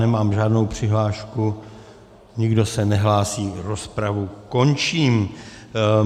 Nemám žádnou přihlášku, nikdo se nehlásí, rozpravu končím.